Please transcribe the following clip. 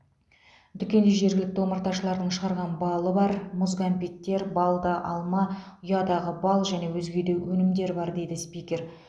дүкенде жергілікті омарташылардың шығарған балы бар мұз кәмпиттер балды алма ұядағы бал және өзге де өнімдер бар дейді спикер